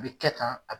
A bɛ kɛ tan a